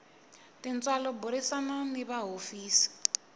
tintswalo burisana ni va hofisi